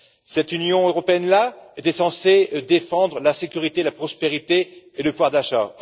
Cette Union européenne là était censée défendre la sécurité, la prospérité et le pouvoir d'achat.